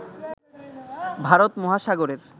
ভারত মহাসাগরের